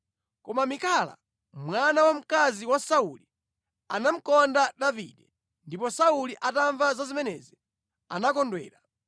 Koma Mikala mwana wamkazi wa Sauli anamukonda Davide ndipo Sauli atamva za zimenezi, anakondwera.